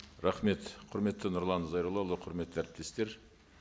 рахмет құрметті нұрлан зайроллаұлы құрметті әріптестер